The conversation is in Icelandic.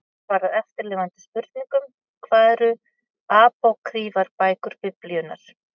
Hér er svarað eftirfarandi spurningum: Hvað eru apókrýfar bækur Biblíunnar?